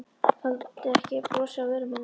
Þoldi ekki brosið á vörum hennar.